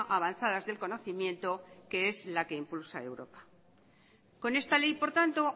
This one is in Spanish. avanzadas del conocimiento que es la que impulsa europa con esta ley por tanto